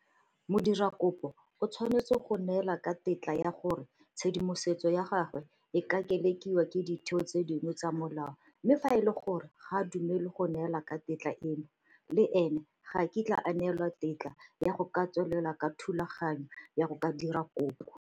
Modirakopo o tshwanetse go neelana ka tetla ya gore tshedimosetso ya gagwe e ka kelekiwa ke ditheo tse dingwe tsa molao mme fa e le gore ga a dumele go neelana ka tetla eno, le ene ga a kitla a neelwa tetla ya go ka tswelela ka thula ganyo ya go dira kopo.